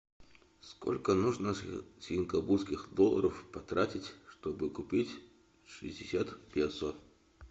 сколько нужно сингапурских долларов потратить чтобы купить шестьдесят песо